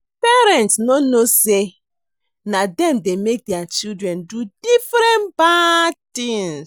Parents no know say na dem dey make their children do different bad things